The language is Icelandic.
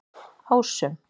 Ásum